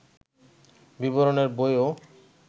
বিবরণের বইও